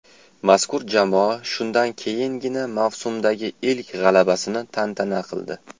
Mazkur jamoa shundan keyingina mavsumdagi ilk g‘alabasini tantana qildi.